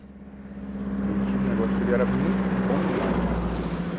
E ele tinha um negócio que ele era muito bom demais, né?